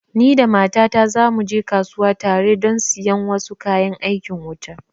Ni da mata ta za mu je kasuwa tare don siyan wasu kayan aikin wuta